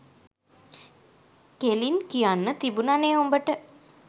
කෙළින් කියන්න තිබුණනේ උඹට.